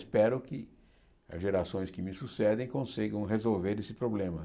Espero que as gerações que me sucedem consigam resolver esse problema.